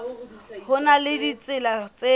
ho na le ditsela tse